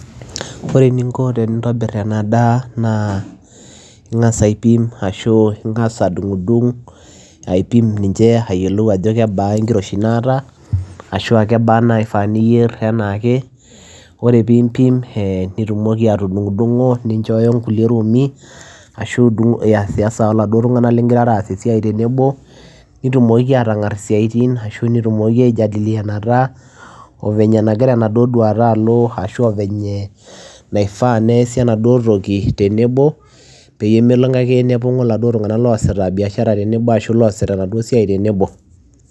Ore eninko tenintobir ena daa naa ing'asa aipim ashu ing'asa adung'dung' aipim ninche ayiolou ajo kebaa enkiroshi naata ashu aa kebaa naifaa niyer enaake. Ore piimpim ee nitumoki atudng'dung'o ninchooyo nkulie roomi ashu idung' iyasiyasa oladuo tung'anak ling'irara aas esiai tenebo, nitumokiki aatang'ar isiaitin ashu nitumokiki aijadilianata oo venye nagira enaduo duata alo ashu venye naifaa neesi enaduo toki tenebo peyie melong'o ake nepong'o iladuo tung'anak loosita biashara tenebo ashu loosita enaduo siai tenebo.